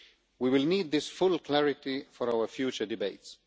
We will need this full clarity for our future debates.